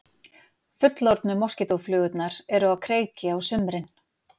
Fullorðnu moskítóflugurnar eru á kreiki á sumrin.